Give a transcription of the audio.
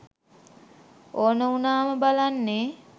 ඕන උනාම බලන්නෙ